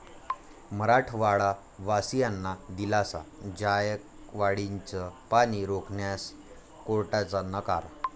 मराठवाडावासियांना दिलासा, जायकवाडीचं पाणी रोखण्यास कोर्टाचा नकार